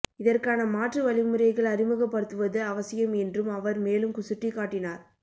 இதற்கான மாற்று வழிமுறைகள் அறிமுகப்படுத்துவது அவசியம் என்றும் அவர் மேலும் சுட்டிக்காட்டினார்